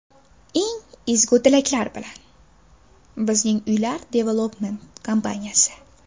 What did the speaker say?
Eng ezgu tilaklar bilan, Bizning Uylar Development kompaniyasi!